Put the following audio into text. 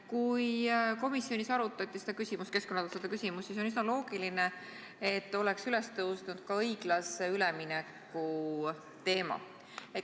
Kui komisjonis arutati seda keskkonnatasude küsimust, siis on üsna loogiline, et oleks üles tõusnud ka õiglase ülemineku teema.